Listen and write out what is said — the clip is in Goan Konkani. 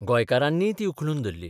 गोंयकारांनीय ती उखलून धरली.